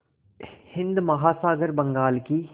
हिंद महासागर बंगाल की